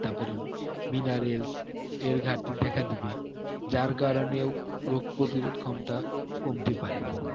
তারপরে minerals এর ঘাটতি দেখা দিবে যার কারণেও রোগ প্রতিরোধ ক্ষমতা কমতে পারে